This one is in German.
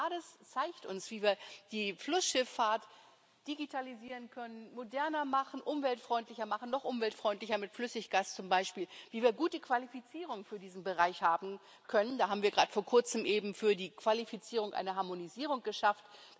NAIADES zeigt uns, wie wir die Flussschifffahrt digitalisieren können, moderner machen, umweltfreundlicher machen, noch umweltfreundlicher mit Flüssiggas zum Beispiel, wie wir gute Qualifizierung für diesen Bereich haben können da haben wir gerade vor kurzem eben für die Qualifizierung eine Harmonisierung geschafft.